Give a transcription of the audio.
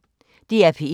DR P1